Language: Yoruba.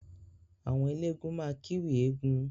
Àwọn elégún máa kiwì eegún.